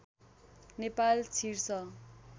नेपाल छिर्छ